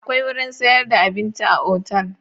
Akwai wurin sayar da abinci a otal?